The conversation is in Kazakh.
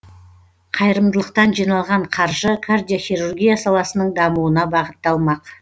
қайырымдылықтан жиналған қаржы кардиохирургия саласының дамуына бағытталмақ